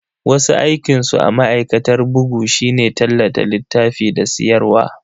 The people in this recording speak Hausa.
Wasu aikinsu a ma'aikatar bugu shine tallata littafi da siyarwa.